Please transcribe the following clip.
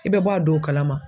I bɛ bɔ a dow kalama